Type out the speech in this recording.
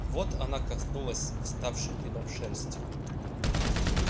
вот она коснулась вставшей дыбом шерсти